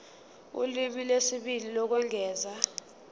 ulimi lwesibili lokwengeza